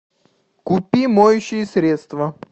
купи моющее средство